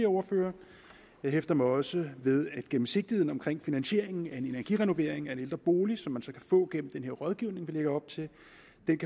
ordførere jeg hæfter mig også ved at gennemsigtigheden i finansieringen af en energirenovering af en ældre bolig som man så kan få gennem den her rådgivning vi lægger op til